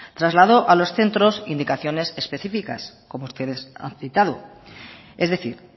trasladó a los centros indicaciones específicas como ustedes han citado es decir